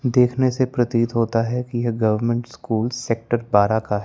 देखने से प्रतीत होता है कि यह गवर्नमेंट स्कूल सेक्टर बारह का--